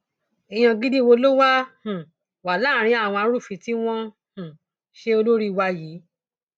èèyàn gidi wo ló wáá um wà láàrin àwọn arúfin tí wọn um ń ṣe olórí wa yìí